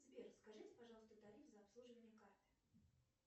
сбер скажите пожалуйста тариф за обслуживание карты